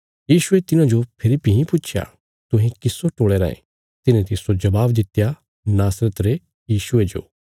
यीशुये तिन्हांजो फेरी भीं पुच्छया तुहें किस्सो टोले रायें तिन्हें तिस्सो जवाब दित्या नासरत रे यीशुये जो